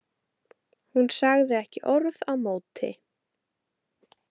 Hún sagði ekki orð á móti.